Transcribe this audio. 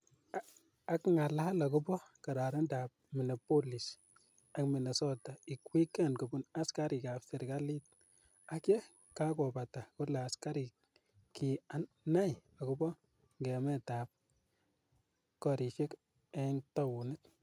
Akngalal akopo kararanindo ap Minneapolis ak Minnesota ig weekend kopun askarik ap serikalit , ang ye kakobata kole askarik ki nai akopo ngemet ap korishek ing taonit.